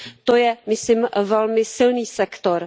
To je myslím velmi silný sektor.